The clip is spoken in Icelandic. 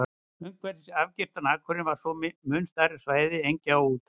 Umhverfis afgirtan akurinn var svo mun stærra svæði engja og úthaga.